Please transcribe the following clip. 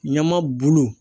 Ɲama bulu